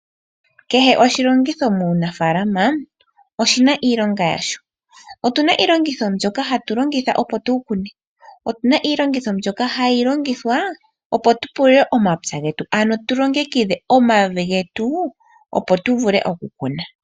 Kehe oshilongitho muunafaalama oshina iilonga yasho. Otuna iilongitho mbyoka hatu longitha opo tukune. Otuna iilongitho mbyoka hayi longithwa opo tu pulule omapya getu ano tulongekidhe omavi getu opo tuvule okukuna.